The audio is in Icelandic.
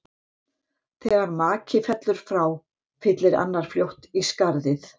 Þegar maki fellur frá, fyllir annar fljótt í skarðið.